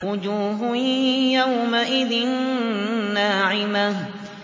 وُجُوهٌ يَوْمَئِذٍ نَّاعِمَةٌ